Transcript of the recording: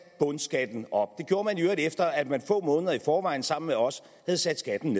bundskatten op det gjorde man i øvrigt efter at man få måneder i forvejen sammen med os havde sat skatten